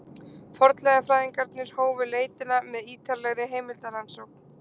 fornleifafræðingarnir hófu leitina með ýtarlegri heimildarannsókn